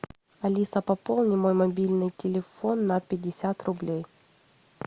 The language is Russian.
алиса пополни мой мобильный телефон на пятьдесят рублей